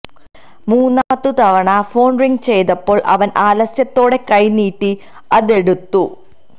മൂന്നാമതു തവണ phone ring ചെയ്തപ്പോള് അവന് ആലസ്യത്തോടെ കൈ നീട്ടി അതെടുത്തു